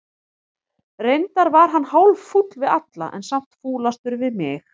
Reyndar var hann hálffúll við alla, en samt fúlastur við mig.